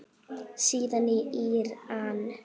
Síðast í Íran.